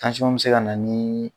bi se ka na ni.